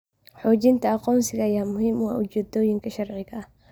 Xaqiijinta aqoonsiga ayaa muhiim u ah ujeedooyinka sharciga ah.